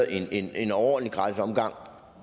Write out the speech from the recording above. er en overordentlig gratis omgang